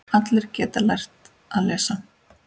Allir geta lært að lesa.